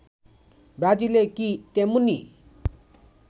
ব্রাজিলে কি তেমনই